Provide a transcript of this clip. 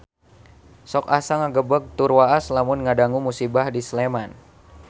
Sok asa ngagebeg tur waas lamun ngadangu musibah di Sleman